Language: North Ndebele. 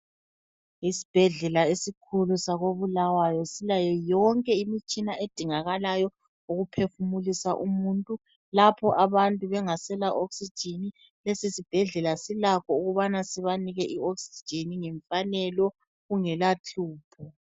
Isibhedlela esikhulu sako Bulawayo silayo yonke imitshina edingakalayo ukuphefumulisa umuntu lapho abantu bengasela oxygen, leso sibhedlela silakho ukubana sibanike i oxygen kungela hlupho.